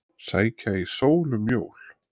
Sækja í sól um jól